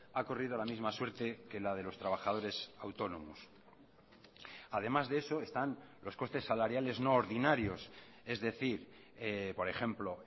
ha corrido la misma suerte que la de los trabajadores autónomos además de eso están los costes salariales no ordinarios es decir por ejemplo